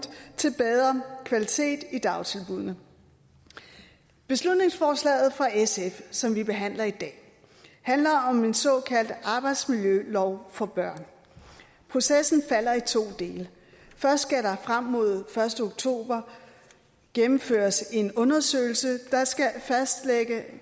til bedre kvalitet i dagtilbuddene beslutningsforslaget fra sf som vi behandler i dag handler om en såkaldt arbejdsmiljølov for børn processen falder i to dele først skal der frem mod første oktober gennemføres en undersøgelse der skal fastlægge